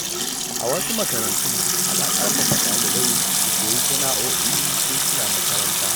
A wasu makarantun, ana ƙarfafa ɗalibai su koyi sana’o’i tun suna makaranta.